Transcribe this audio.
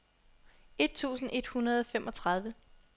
et tusind et hundrede og femogtredive